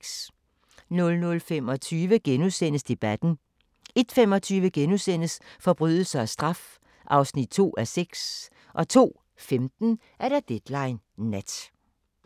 00:25: Debatten * 01:25: Forbrydelse og straf (2:6)* 02:15: Deadline Nat